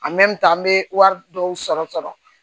an bɛ wari dɔw sɔrɔ sɔrɔ